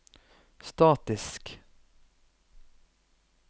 statisk